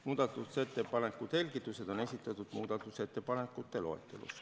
Muudatusettepanekute selgitused on esitatud muudatusettepanekute loetelus.